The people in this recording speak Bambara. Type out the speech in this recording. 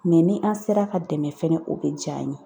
Mɛ ni an sera ka dɛmɛ fɛnɛ o bɛ diya an ye.